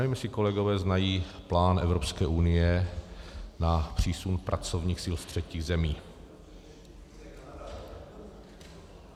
Nevím, jestli kolegové znají plán Evropské unie na přísun pracovních sil z třetích zemí.